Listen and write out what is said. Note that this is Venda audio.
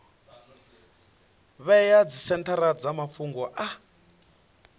vhea dzisenthara dza mafhungo a